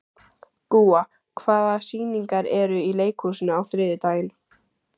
Gúa, hvaða sýningar eru í leikhúsinu á þriðjudaginn?